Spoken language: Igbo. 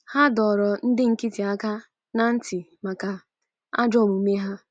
Ha dọrọ ndị nkịtị aka ná ntị maka ajọ omume ha.